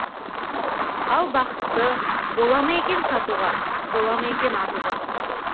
ал бақытты бола ма екен сатуға бола ма екен атуға